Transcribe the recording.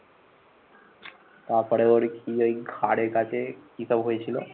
তাপরে ওর কি ওই ঘাড়ের কাছে কি সব হয়েছিল